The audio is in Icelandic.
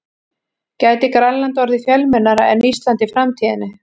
Gæti Grænland orðið fjölmennara en Ísland í framtíðinni?